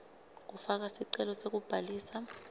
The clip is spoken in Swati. kufaka sicelo sekubhalisa